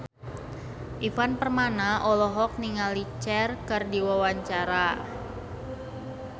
Ivan Permana olohok ningali Cher keur diwawancara